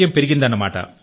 సౌకర్యం పెరిగింది